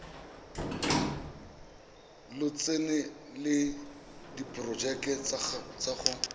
lotseno le diporojeke tsa go